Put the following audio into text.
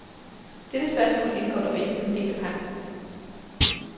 Dette spørgsmål indgår dog ikke som en del af pagten.